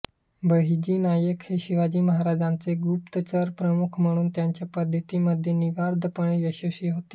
बहिर्जी नाईक हे शिवाजी महाराजांचे गुप्तचर प्रमुख म्हणून त्यांच्या पद्धतींमध्ये निर्विवादपणे यशस्वी होते